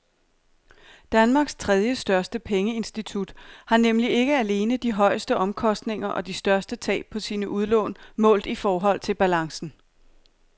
Danmarks tredjestørste pengeinstitut har nemlig ikke alene de højeste omkostninger og de største tab på sine udlån målt i forhold til balancen.